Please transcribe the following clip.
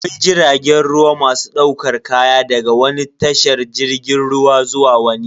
Akwai jiragen ruwa masu daukar kaya daga wani tashar jirgin ruwa zuwa wani.